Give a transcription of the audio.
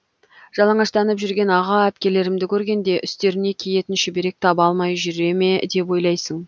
жалаңаштанып жүрген аға әпкелерімді көргенде үстеріне киетін шүберек таба алмай жүре ме деп ойлайсың